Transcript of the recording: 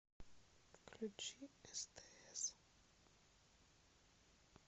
включи стс